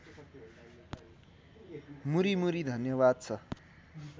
मुरीमुरी धन्यवाद छ